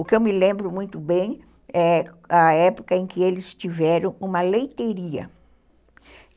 O que eu me lembro muito bem é a época em que eles tiveram uma leiteiria.